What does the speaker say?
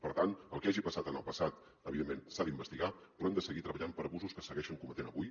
per tant el que hagi passat en el passat evidentment s’ha d’investigar però hem de seguir treballant per abusos que es segueixen cometent avui